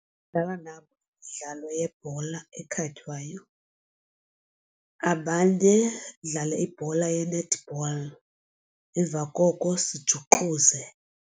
Ndingadlala nabo imidlalo yebhola ekhatywayo abanye sidlale ibhola ye-netball emva koko sijuxuze